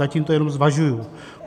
Zatím to jenom zvažuji.